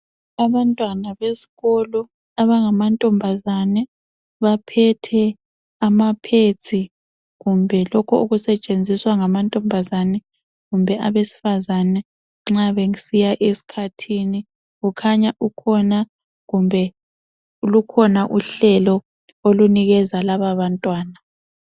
Abantwana besikolo abangamantombazana baphethe amapads kumbe lokhu okusetshenziswa ngamantombazane kumbe abesifazana nxa besiya esikhathini. Kukhanya kukhona kumbe lukhona uhlelo olunikeza lababantwana.